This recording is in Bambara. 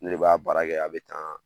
Ne de b'a baara kɛ a bɛ tan